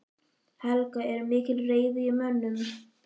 Helga: Er mikil reiði í mönnum?